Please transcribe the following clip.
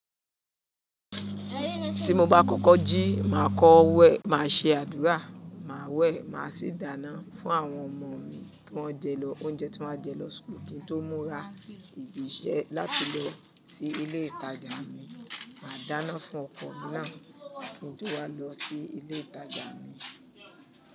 Ti mo ba kọ́kọ́ jí, maa kọ wẹ̀, maa ṣe àdúrà, maa wẹ̀, maa sì dáná fún àwọn ọmọ mi kí wọ́n jẹ lọ. Oúnjẹ tí wọ́n a jẹ lọ school, kí n tó múra ibi iṣẹ́ láti lọ sí ilé ìtajà mi, màá dáná fún ọkọ mi náà kí n tó wá lọ sí ilé ìtajà mi.